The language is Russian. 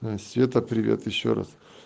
света привет ещё раз